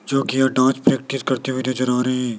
जोकि यह प्रैक्टिस करते हुए नजर आ रहे--